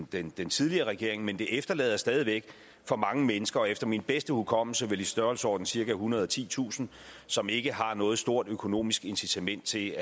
den den tidligere regering men det efterlader stadig væk for mange mennesker efter min bedste hukommelse vel i størrelsesordenen cirka ethundrede og titusind som ikke har noget stort økonomisk incitament til